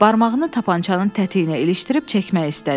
Barmağını tapançanın tətiyinə ilişdirib çəkmək istədi.